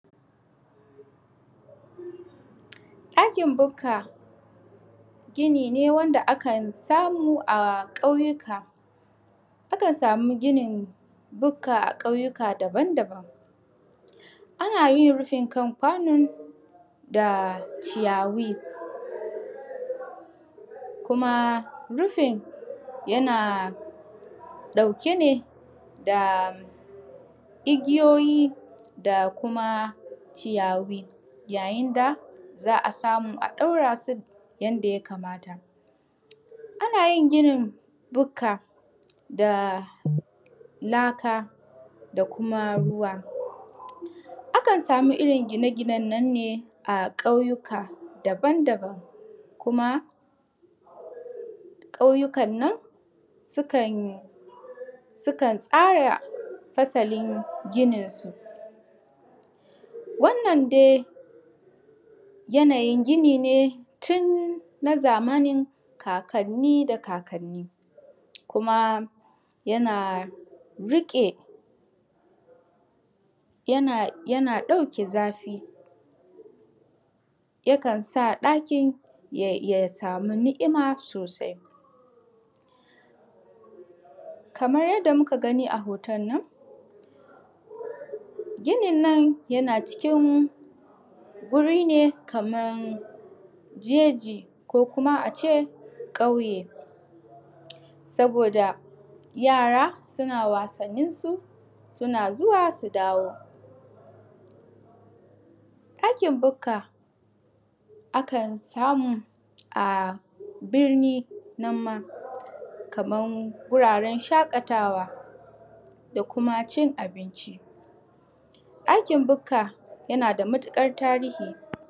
ɗakin bukka gini ne wanda akan samu a kyauyuka, akan samu ginin bukka a kauyuka daban daban. A nayin rufin kan kwanon da ciyawi kuma rufin yana ɗauke ne da igiyoyi da kuma ciyayi, ya yinda za'a samu a ɗaurasu yanda ya kamata. A nayin ginin bukka da laka da kuma ruwa. Akan samu irrin gine gienen nan ne a kauyuka daban daban kuma kauyukan nan sukan tsara fasalin ginin su. Wannan dai yanayin gini ne tunna zamanin kaka da kakanni kuma yana rike, yana ɗauke zafi ya kansa ɗaki ya sami ni'ima sosai. kamar yadda muka gani a hotonnon ginin nan yana cikin guri ne kaman jeji kaman ma ace kauye saboda yara suna wasannin su suna zuwa su dawo. ɗakin bukka akan samu a birni nan ma kaman wuraren shakatawa da kuma cin abinci, ɗakin bukka ya nada matuƙar tarihin